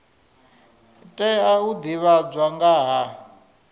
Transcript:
tea u divhadzwa nga ha